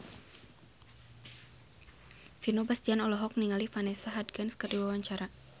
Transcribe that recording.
Vino Bastian olohok ningali Vanessa Hudgens keur diwawancara